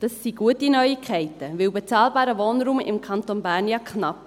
Das sind gute Neuigkeiten, denn bezahlbarer Wohnraum im Kanton Bern ist ja knapp.